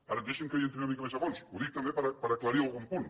ara deixi’m que hi entri una mica més a fons ho dic també per aclarir algun punt